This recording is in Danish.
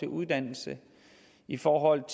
uddannelse i forhold